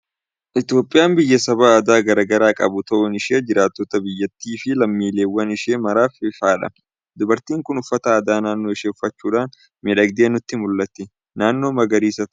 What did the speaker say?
Itoophiyaan biyya saba aadaa garaa garaa qabu ta'uun ishee jiraattota biyyattii fi lammiiwwan ishee maraaf ifaadha! Dubartiin kun uffata aadaa naannoo ishee uffachuudhaan miidhagdee nutti mul'atti. Naannoo magaariisaa taa'aa jirti.